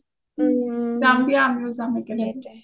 যাম দিয়া আমিও যাম একেলগে